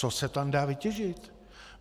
Co se tam dá vytěžit?